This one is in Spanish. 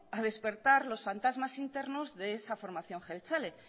a despertar los fantasmas internos de esa formación jeltzale